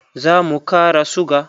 Za mu kara suga.